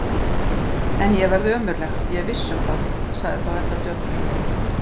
En ég verð ömurleg, ég er viss um það, sagði þá Edda döpur.